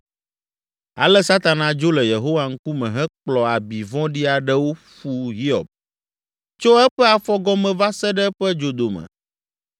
Ale Satana dzo le Yehowa ŋkume hekplɔ abi vɔ̃ɖi aɖewo ƒu Hiob, tso eƒe afɔgɔme va se ɖe eƒe dzodome.